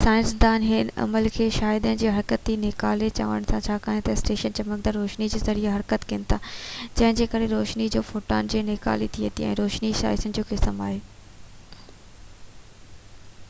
سائنسدان هن عمل کي شعاعن جي حرڪتي نيڪالي چون ٿا ڇاڪاڻ تہ ايٽمس چمڪندڙ روشني جي ذريعي حرڪت ڪن ٿا جنهن جي ڪري روشني جي فوٽان جي نيڪالي ٿئي ٿي ۽ روشني شعاعن جو قسم آهي